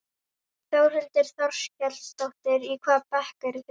Þórhildur Þorkelsdóttir: Í hvaða bekk eruð þið?